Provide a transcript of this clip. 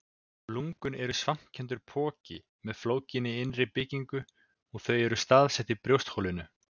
Lungun eru svampkenndur poki með flókinni innri byggingu og þau eru staðsett í brjóstholinu.